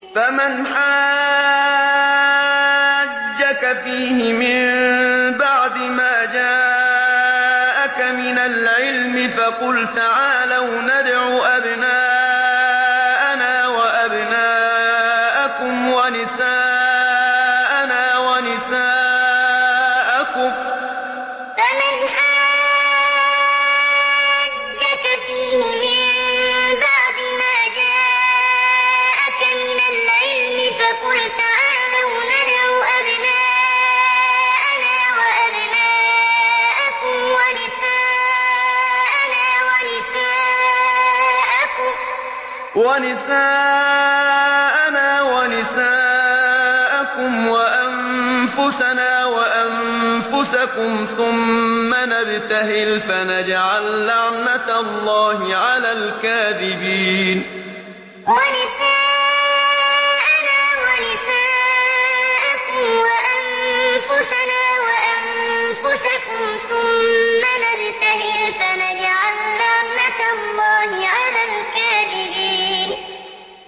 فَمَنْ حَاجَّكَ فِيهِ مِن بَعْدِ مَا جَاءَكَ مِنَ الْعِلْمِ فَقُلْ تَعَالَوْا نَدْعُ أَبْنَاءَنَا وَأَبْنَاءَكُمْ وَنِسَاءَنَا وَنِسَاءَكُمْ وَأَنفُسَنَا وَأَنفُسَكُمْ ثُمَّ نَبْتَهِلْ فَنَجْعَل لَّعْنَتَ اللَّهِ عَلَى الْكَاذِبِينَ فَمَنْ حَاجَّكَ فِيهِ مِن بَعْدِ مَا جَاءَكَ مِنَ الْعِلْمِ فَقُلْ تَعَالَوْا نَدْعُ أَبْنَاءَنَا وَأَبْنَاءَكُمْ وَنِسَاءَنَا وَنِسَاءَكُمْ وَأَنفُسَنَا وَأَنفُسَكُمْ ثُمَّ نَبْتَهِلْ فَنَجْعَل لَّعْنَتَ اللَّهِ عَلَى الْكَاذِبِينَ